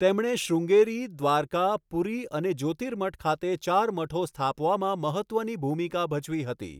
તેમણે શ્રૃંગેરી, દ્વારકા, પુરી અને જ્યોતિર્મઠ ખાતે ચાર મઠો સ્થાપવામાં મહત્ત્વની ભૂમિકા ભજવી હતી.